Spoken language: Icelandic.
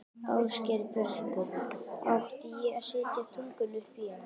Ásgeir Börkur: Átti ég að setja tunguna upp í hann?